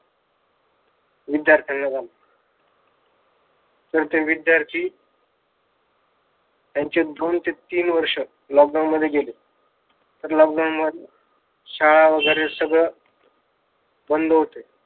विद्यार्थ्यांना झाला तर ते विद्यार्थी त्यांचे दोन ते तीन वर्षे लॉकडाऊन मध्ये गेले. तर लॉकडाऊन मध्ये शाळा वगैरे सगळं बंद होते.